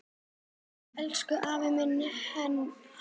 Elsku afi minn, Hannes.